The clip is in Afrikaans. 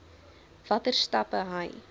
watter stappe hy